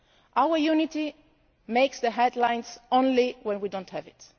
Our unity makes the headlines only when we do not have